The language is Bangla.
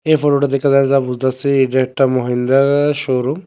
এই ফোটোটা দেখে যার যা বুঝতাসি এইটা একটা মাহিন্দ্রার শোরুম ।